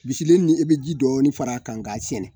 Bisilen nin i bɛ ji dɔɔnin fara a kan k'a sɛɛnɛ